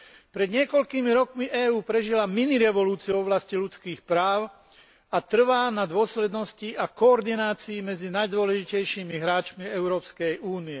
Pred niekoľkými rokmi EÚ prežila minirevolúciu v oblasti ľudských práv a trvá na dôslednosti a koordinácii medzi najdôležitejšími hráčmi EÚ.